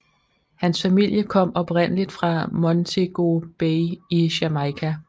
Hans familie kom oprindeligt fra Montego Bay i Jamaica